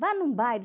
Vá em um baile.